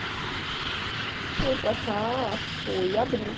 A gente veio para cá, foi em abril.